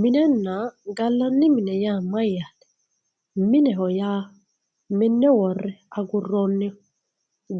Minenna galanni mine ya mayate mineho ya mine wore aguroniho